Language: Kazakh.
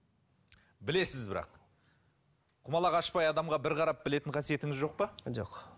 білесіз бірақ құмалақ ашпай адамға бір қарап білетін қасиетіңіз жоқ па жоқ